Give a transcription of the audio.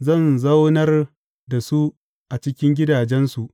Zan zaunar da su a cikin gidajensu,